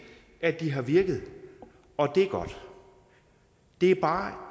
at de har virket og det er godt det er bare